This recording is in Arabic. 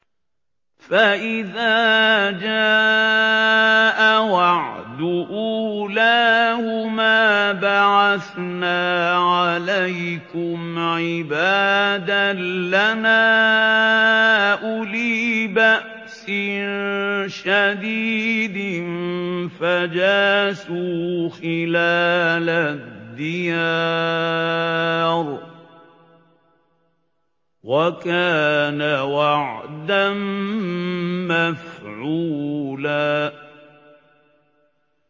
فَإِذَا جَاءَ وَعْدُ أُولَاهُمَا بَعَثْنَا عَلَيْكُمْ عِبَادًا لَّنَا أُولِي بَأْسٍ شَدِيدٍ فَجَاسُوا خِلَالَ الدِّيَارِ ۚ وَكَانَ وَعْدًا مَّفْعُولًا